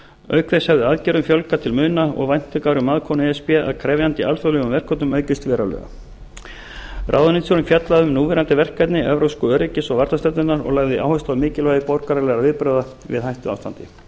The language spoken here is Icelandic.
auk þess hefði aðgerðum fjölgað til muna og væntingar um aðbúnað e s b að krefjandi alþjóðlegum verkefnum aukist verulega ráðuneytisstjórinn fjallaði um núverandi verkefni evrópsku öryggis og varnardeildarinnar og lagði áherslu á mikilvægi borgaralegra viðbragða við hættuástandi